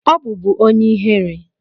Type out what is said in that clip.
Ọ bụbu onye ihere?